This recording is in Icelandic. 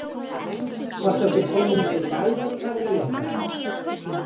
Hvort það sé komin einhver værukærð í þetta?